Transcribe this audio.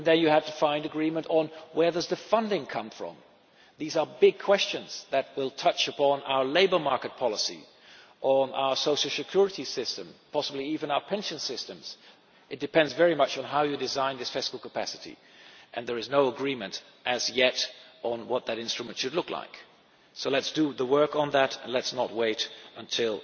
Then you have to find agreement on where the funding is to come from. These are big questions that will touch upon our labour market policy, on our social security system and possibly even our pension systems. It depends very much on how you design this fiscal capacity, and there is no agreement as yet on what their instrument should look like. So let us do the work on that and let us not wait until